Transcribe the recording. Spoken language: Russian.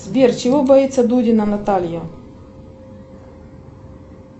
сбер чего боится дудина наталья